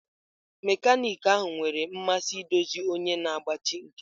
Mekaniki ahụ nwere mmasị idozi onye na-agbachi nkịtị.